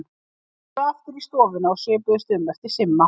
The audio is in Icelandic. Þeir fóru aftur inn í stofuna og svipuðust um eftir Simma.